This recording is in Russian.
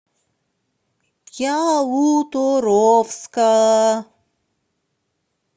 ялуторовска